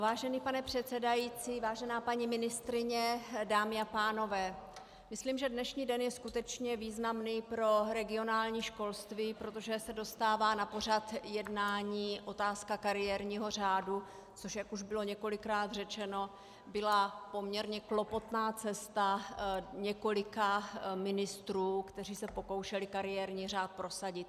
Vážený pane předsedající, vážená paní ministryně, dámy a pánové, myslím, že dnešní den je skutečně významný pro regionální školství, protože se dostává na pořad jednání otázka kariérního řádu, což jak už bylo několikrát řečeno, byla poměrně klopotná cesta několika ministrů, kteří se pokoušeli kariérní řád prosadit.